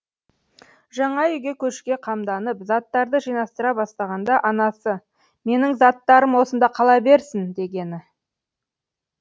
жаңа үйге көшуге қамданып заттарды жинастыра бастағанда анасы менің заттарым осында қала берсін дегені